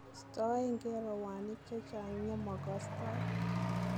Stoengee rowaniik chechang nyemokstooi.